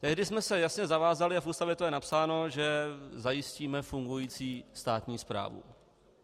Tehdy jsme se jasně zavázali a v Ústavě to je napsáno, že zajistíme fungující státní správu.